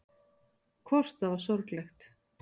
Hvort það var sorglegt.